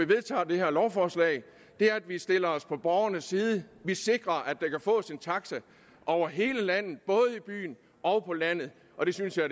vedtager det her lovforslag er at vi stiller os på borgernes side vi sikrer at der kan fås en taxa over hele landet både i byen og landet og det synes jeg